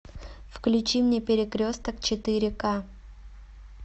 включи мне перекресток четыре к